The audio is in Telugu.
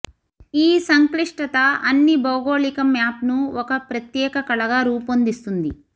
ఈ సంక్లిష్టత అన్ని భౌగోళిక మ్యాప్ను ఒక ప్రత్యేక కళగా రూపొందిస్తుంది